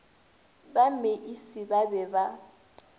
ba meisie ba be ba